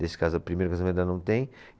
Nesse caso, primeiro casamento ela não tem.